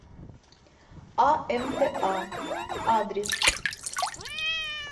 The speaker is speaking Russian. амта адрес